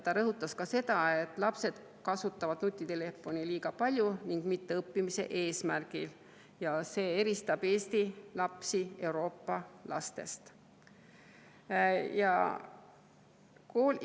Ta rõhutas ka seda, et lapsed kasutavad nutitelefoni liiga palju ning mitte õppimise eesmärgil ja see eristab Eesti lapsi Euroopa lastest.